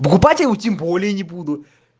покупать я его тем более не буду